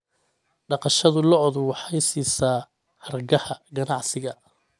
Dhaqashada lo'du waxay siisaa hargaha ganacsiga.